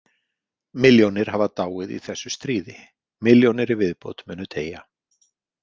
Milljónir hafa dáið í þessu stríði, milljónir í viðbót munu deyja.